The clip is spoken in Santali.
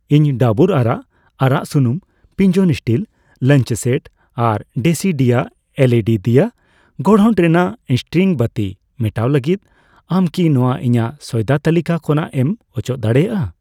ᱤᱧ ᱰᱟᱵᱩᱨ ᱟᱨᱟᱜ ᱟᱨᱟᱜ ᱥᱩᱱᱩᱢ, ᱯᱤᱡᱚᱱ ᱥᱴᱤᱞ ᱞᱟᱧᱪ ᱥᱮᱴ ᱟᱨ ᱰᱮᱥᱤᱰᱤᱭᱟ ᱮᱞᱹᱤᱹᱰᱤ ᱫᱤᱭᱟ ᱜᱚᱲᱦᱚᱱ ᱨᱮᱱᱟᱜ ᱤᱥᱴᱨᱤᱝ ᱵᱟᱹᱛᱤ ᱢᱮᱴᱟᱣ ᱞᱟᱹᱜᱤᱫ, ᱟᱢ ᱠᱤ ᱱᱚᱣᱟ ᱤᱧᱟᱜ ᱥᱚᱭᱫᱟ ᱛᱟᱹᱞᱤᱠᱟ ᱠᱷᱚᱱᱟᱜ ᱮᱢ ᱚᱪᱚᱜ ᱫᱟᱲᱮᱭᱟᱜᱼᱟ ?